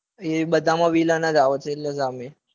એ બધામાં villain જ આવશે.